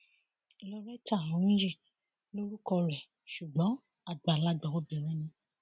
lauretta onhóyè lorúkọ rẹ ṣùgbọn àgbàlagbà obìnrin ni